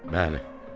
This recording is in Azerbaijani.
Mənə.